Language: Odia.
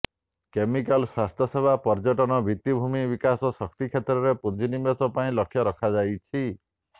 କେମିକାଲ ସ୍ୱାସ୍ଥ୍ୟ ସେବା ପର୍ଯ୍ୟଟନ ଭିତ୍ତିଭୂମି ବିକାଶ ଶକ୍ତି କ୍ଷେତ୍ରରେ ପୁଞ୍ଜି ନିବେଶ ପାଇଁ ଲକ୍ଷ୍ୟ ରଖାଯାଇଛି